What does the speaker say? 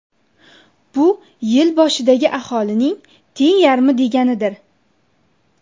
Bu yil boshidagi aholining teng yarmi deganidir.